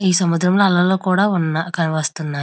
ఈ సముద్రంలో అలలు కూడా ఉన్న కనిపిస్తున్నాయి.